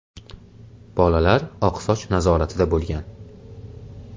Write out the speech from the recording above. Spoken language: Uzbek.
Bolalar oqsoch nazoratida bo‘lgan.